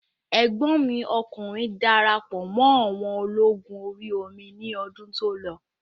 Ẹ̀gbọ́n mi ọkùnrin darapọ̀ mọ́ àwọn ológun orí omi ní ọdún tó lọ